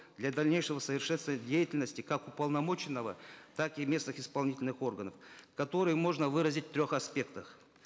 для дальнейшего совершенствования деятельности как уполномоченного так и местных исполнительных органов которые можно выразить в трех аспектах